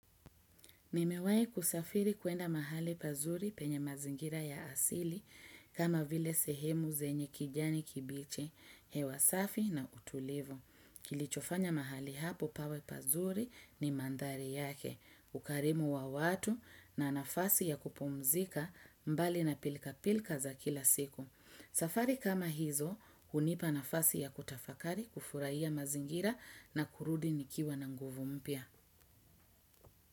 Nimewai kusafiri kuenda mahali pazuri penye mazingira ya asili kama vile sehemu zenye kijani kibichi, hewa safi na utulivu. Kilichofanya mahali hapo pawe pazuri ni manthari yake, ukarimu wa watu na nafasi ya kupumzika mbali na pilka-pilka za kila siku. Safari kama hizo, hunipa nafasi ya kutafakari kufurahiya mazingira na kurudi nikiwa na nguvu mpya.